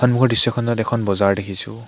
সম্মুখৰ দৃশ্যখনত এখন বজাৰ দেখিছোঁ।